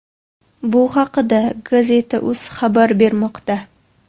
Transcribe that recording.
Bu haqida Gazeta.uz xabar bermoqda.